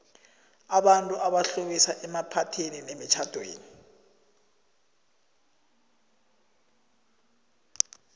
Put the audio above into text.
abantu abaxhabisa emaphathini nemitjhamdeni